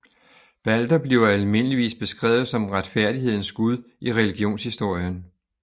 Balder bliver almindeligvis beskrevet som retfærdighedens gud i religionshistorien